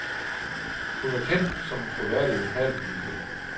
Hun er kendt som en troværdig lokalpolitiker.